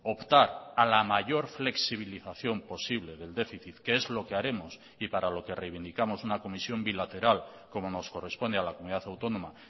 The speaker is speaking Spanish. optar a la mayor flexibilización posible del déficit que es lo que haremos y para lo que reivindicamos una comisión bilateral como nos corresponde a la comunidad autónoma